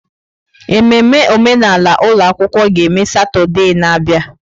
Ememme omenala ụlọ akwụkwọ ga-eme Satọde na-abịa.